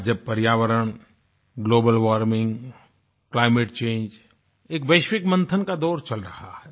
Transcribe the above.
आज जब पर्यावरण ग्लोबल वार्मिंग क्लाइमेट चंगे एक वैश्विक मंथन का दौर चल रहा है